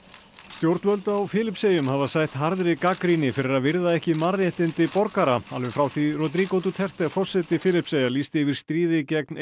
stjórnvöld á Filippseyjum hafa sætt harðri gagnrýni fyrir að virða ekki mannréttindi borgara alveg frá því Rodrigo Duterte forseti Filippseyja lýsti yfir stríði gegn